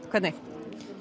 hvernig